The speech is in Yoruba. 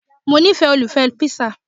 Mo nifẹ́ olùfẹ́ píṣà